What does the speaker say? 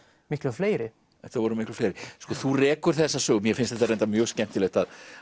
miklu fleiri þetta voru miklu fleiri sko þú rekur þessa sögu og mér finnst þetta mjög skemmtilegt